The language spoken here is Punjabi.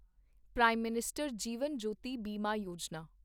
prime minister Jeevan Jyoti Bima Yojana